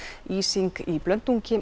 ísing í